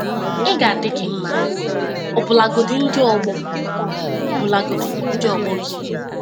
Ị ga-adị gị mma, ọbụlagodi ndị ọgbọ ọbụlagodi ndị ọgbọ gị.